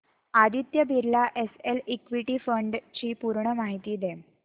Aditya Birla SL equity fund D ची पूर्ण माहिती दे